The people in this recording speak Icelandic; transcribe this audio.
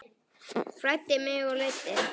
Fræddi mig og leiddi.